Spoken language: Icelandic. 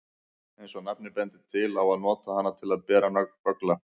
Eins og nafnið bendir til á að nota hana til að bera böggla.